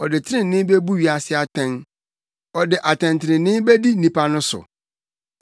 Ɔde trenee bebu wiase atɛn; ɔde atɛntrenee bedi nnipa no so.